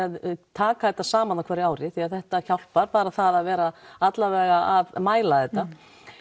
taka þetta saman á hverju ári því þetta hjálpar bara það að vera allavega að mæla þetta